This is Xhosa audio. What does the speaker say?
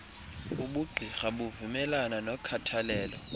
ubugqirha buvumelana nokhathalelo